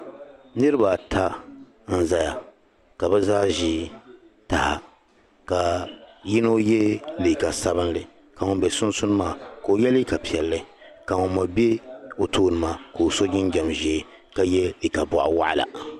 Niraba ata n ʒɛya ka bi zaa ʒi taha ka yino yɛ liiga sabinli ka ŋun bɛ sunsuuni maa ka o yɛ liiga piɛlli ka ŋun mii bɛ o tooni maa ka oso jinjɛm ʒiɛ ka yɛ liiga boɣi waɣila